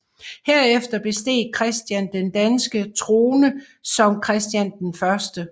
Herefter besteg Christian den danske trone som Christian 1